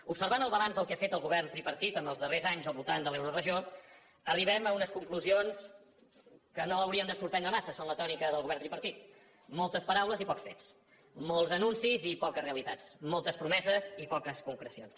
observant el balanç del que ha fet el govern tripartit en els darrers anys al voltant de l’euroregió arribem a unes conclusions que no haurien de sorprendre massa són la tònica del govern tripartit moltes paraules i pocs fets molts anuncis i poques realitats moltes promeses i poques concrecions